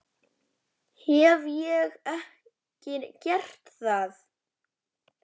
Hef ég ekki gert það?